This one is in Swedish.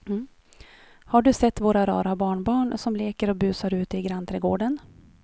Har du sett våra rara barnbarn som leker och busar ute i grannträdgården!